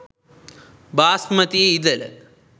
බාස්මතී ඉඳල